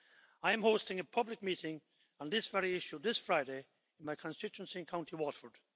I am hosting a public meeting on this very issue this Friday in my constituency in County Waterford.